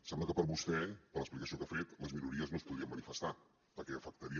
sembla que per a vostè per l’explicació que ha fet les minories no es podrien manifestar perquè afectaria